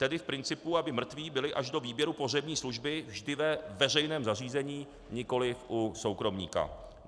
Tedy v principu aby mrtví byli až do výběru pohřební služby vždy ve veřejném zařízení, nikoliv u soukromníka.